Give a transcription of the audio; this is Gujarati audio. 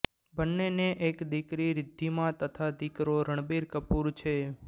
બંનેને એક દીકરી રિદ્ધિમા તથા દીકરો રણબીર કપૂર છે